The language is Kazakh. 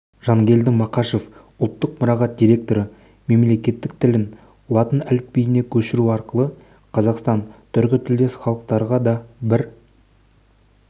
жангелді мақашев ұлттық мұрағат директоры мемлекеттік тілін латын әліпбиіне көшіру арқылы қазақстан түркітілдес халықтарға да бір